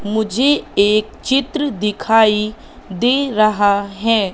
मुझे एक चित्र दिखाई दे रहा है।